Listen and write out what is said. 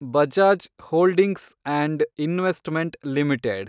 Bajaj holdings and investment limited